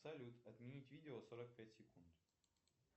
салют отменить видео сорок пять секунд